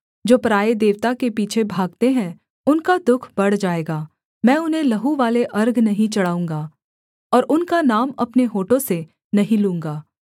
जो पराए देवता के पीछे भागते हैं उनका दुःख बढ़ जाएगा मैं उन्हें लहूवाले अर्घ नहीं चढ़ाऊँगा और उनका नाम अपने होठों से नहीं लूँगा